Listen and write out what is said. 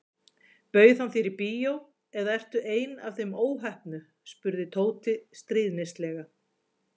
Bauð hann þér í bíó eða ertu ein af þeim óheppnu spurði Tóti stríðnislega.